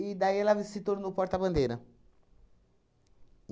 daí, ela se tornou porta-bandeira.